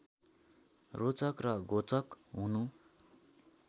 रोचक र घोचक हुनु